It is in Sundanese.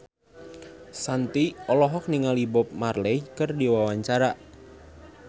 Shanti olohok ningali Bob Marley keur diwawancara